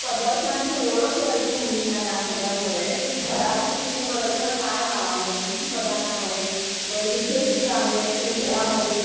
म्हणजे थोडक्यात पदार्थांची ओळख व्हायची मुलींना या सगळ्यामुळे की कुठल्या पदार्थाला काय नाव आहे. किती पदार्थ आहेत, वैविध्य किती आहे प्रत्येक घरामध्ये.